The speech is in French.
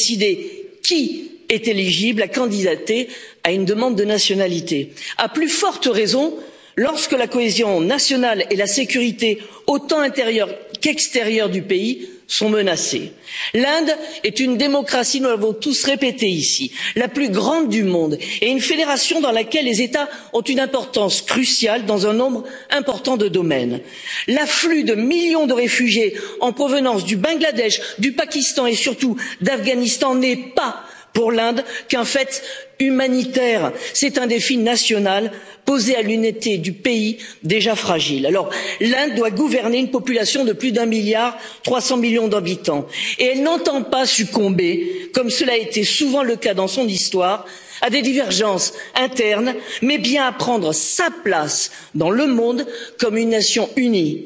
L'Inde est un pays souverain qui a prérogative pour décider qui est éligible à déposer une demande de nationalité, à plus forte raison lorsque la cohésion nationale et la sécurité autant intérieure qu'extérieure du pays sont menacées l'Inde est une démocratie nous l'avons tous répété ici la plus grande du monde et une fédération dans laquelle les États ont une importance cruciale dans un nombre important de domaines. L'afflux de millions de réfugiés en provenance du Bangladesh, du Pakistan et surtout d'Afghanistan n'est pas, pour l'Inde, qu'un fait humanitaire c'est un défi national posé à l'unité du pays déjà fragile. L'Inde doit gouverner une population de plus d'un milliard 300 millions d'habitants et n'entend pas succomber comme cela a été souvent le cas dans son histoire à des divergences internes, mais bien prendre sa place dans le monde en tant que nation unie.